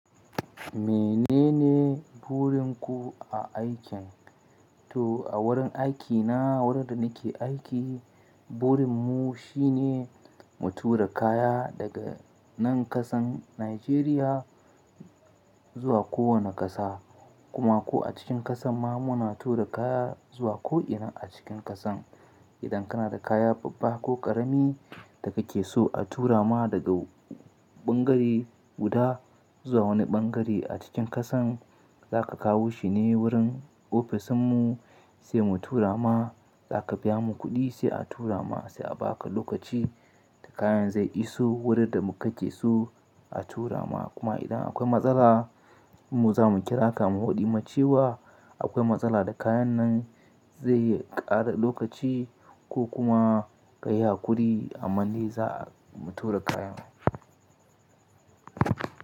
Menene burin ku a aikin? To a wurin aikina wurin da nake aiki, burin mu shine mu tura kaya daga nan ƙasan Najeriya zuwa kowane ƙasa kuma ko a cikin ƙasan ma muna tura kaya zuwa ko'ina a cikin ƙasan. Idan kana da kaya babba ko ƙarami da kake so a tura ma daga ɓangare guda zuwa wani ɓangare a cikin ƙasan, za ka kawo shi ne wurin ofis mu sai mu tura ma, za ka biya mu kuɗi sai a tura ma, sai a baka lokaci da kayan zai iso wurin da mu ka ce su a tura ma. Kuma idan akwai matsala mu zamu kira ka mu hoɗi ma cewa akwai matsala da kayan nan zai ƙara lokaci ko kuma ka yi haƙuri a manni za mu tura kayan.